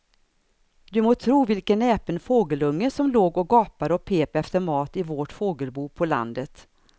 Du må tro vilken näpen fågelunge som låg och gapade och pep efter mat i vårt fågelbo på landet.